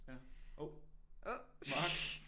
Ja hov mark